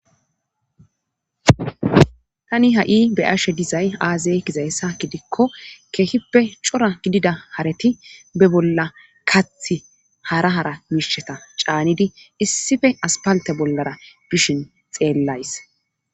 tani ha'i be'ashe dizay aaza gizayssa gidikko keehippe cora gidida kareti be bolla kaathi hara hara miisheta caanidi issife aspalte bollara bishin xeellays